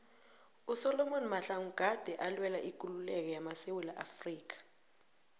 usolom mahlangu gade alwela ikululeko yamasewula afrika